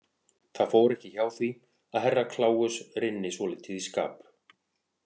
Það fór ekki hjá því að Herra Kláus rynni svolítið í skap.